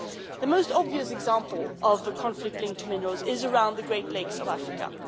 The most obvious example of the conflict linked to minerals is around the great lakes of Africa.